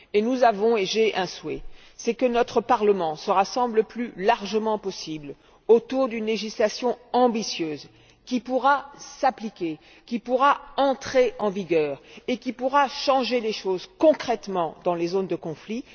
Et nous avons un souhait que notre Parlement se rassemble le plus largement possible autour d'une législation ambitieuse, qui pourra s'appliquer, entrer en vigueur et changer les choses concrètement dans les zones de conflit.